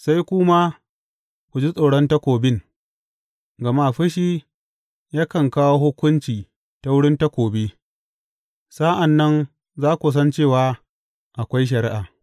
sai ku ma ku ji tsoron takobin; gama fushi yakan kawo hukunci ta wurin takobi, sa’an nan za ku san cewa akwai shari’a.